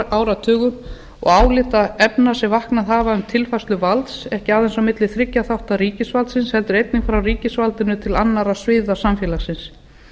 áratugum og álitaefna sem vaknað hafa um tilfærslu valds ekki aðeins á milli þriggja þátta ríkisvaldsins heldur einnig frá ríkisvaldinu til annarra sviða samfélagsins